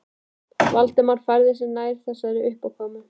Valdimar færði sig nær þessari uppákomu.